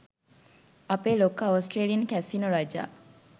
අපේ ලොක්කා Australian casino රජා